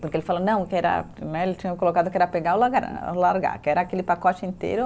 Porque ele falou não, que era né, ele tinha colocado que era pegar ou largar, que era aquele pacote inteiro.